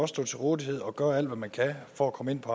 stå til rådighed og gøre alt hvad man kan for at komme ind på